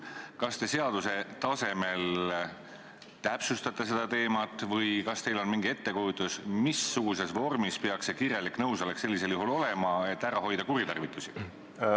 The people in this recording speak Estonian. Kas te seaduse tasemel täpsustate seda teemat või kas teil on mingisugune ettekujutus, missuguses vormis peaks see kirjalik nõusolek sellisel juhul olema, et ära hoida kuritarvitusi?